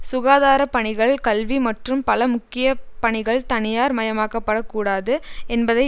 சுகாதார பணிகள் கல்வி மற்றும் பல முக்கிய பணிகள் தனியார் மயமாக்கப்படக் கூடாது என்பதை